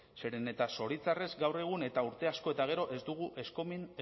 zeren eta zoritxarrez gaur egun eta urte asko eta gero ez dugu